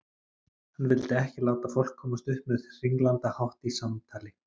Hann vildi ekki láta fólk komast upp með hringlandahátt í samtali.